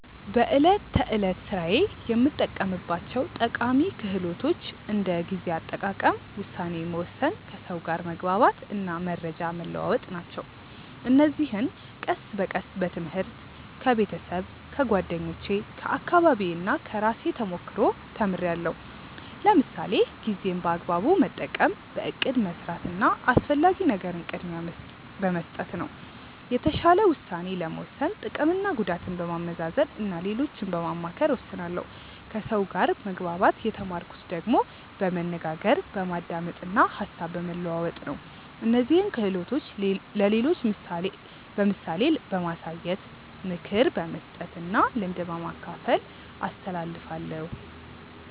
በዕለት ተዕለት ሥራዬ የምጠቀማቸው ጠቃሚ ክህሎቶች እንደ ጊዜ አጠቃቀም፣ ውሳኔ መወሰን፣ ከሰው ጋር መግባባት እና መረጃ መለዋወጥ ናቸው። እነዚህን ቀስ በቀስ በትምህርት፣ ከቤተሰብ፣ ከጓደኞቼ፣ ከአካባቢዬ እና ከራሴ ተሞክሮ ተምርያለሁ። ለምሳሌ ጊዜን በአግባቡ መጠቀም በእቅድ መስራት እና አስፈላጊ ነገርን ቅድሚያ በመስጠት ነው። የተሻለ ውሳኔ ለመወሰን ጥቅምና ጉዳትን በማመዛዘን እና ሌሎችን በማማከር እወስናለሁ ከሰው ጋር መግባባት የተማርኩት ደግሞ በመነጋገር፣ በማዳመጥ እና ሀሳብ በመለዋወጥ ነው። እነዚህን ክህሎቶች ለሌሎች በምሳሌ በማሳየት፣ ምክር በመስጠት እና ልምድ በማካፈል አስተላልፋለሁ።